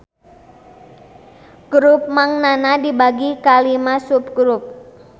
Grup Mang Nana dibagi kana lima subgrup